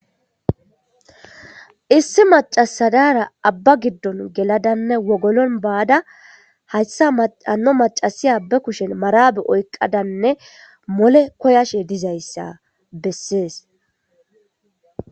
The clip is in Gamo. Issi macasadara abba giddon geladanne wogolon baada hayssa maano macasi abba kushen maraabe oyqadanne mole koyashe dizayssa bessees.